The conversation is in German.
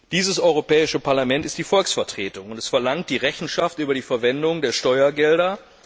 Dieses Europäische Parlament ist die Volksvertretung und es verlangt Rechenschaft über die Verwendung der Steuergelder.